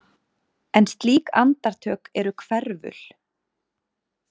En slík andartök eru hverful.